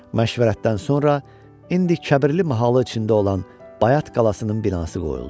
Məşvərətdən sonra indi Kəbirli mahalı içində olan Bayat qalasının binası qoyuldu.